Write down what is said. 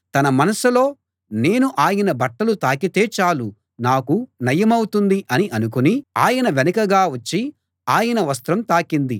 తన మనసులో నేను ఆయన బట్టలు తాకితే చాలు నాకు నయమౌతుంది అని అనుకుని ఆయన వెనకగా వచ్చి ఆయన వస్త్రం తాకింది